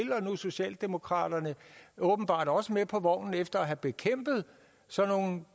nu er socialdemokraterne åbenbart også med på vognen efter at have bekæmpet sådan nogle